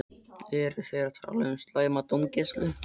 Eru þeir að tala um slæma dómgæslu?